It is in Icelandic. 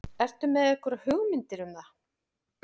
Ertu með einhverjar hugmyndir um það?